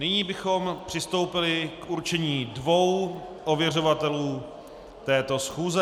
Nyní bychom přistoupili k určení dvou ověřovatelů této schůze.